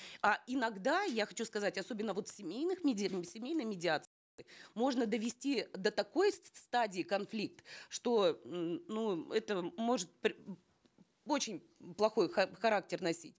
а иногда я хочу сказать особенно вот в семейных в семейной можно довести до такой стадии конфликт что м ну это может очень плохой характер носить